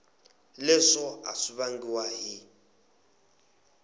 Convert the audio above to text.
leswo a swi vangiwa hi